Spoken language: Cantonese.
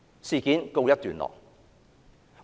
事件告一段落。